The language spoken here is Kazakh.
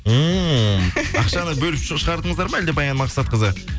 ммм ақшаны бөліп шығардыңыздар ма әлде баян мақсатқызы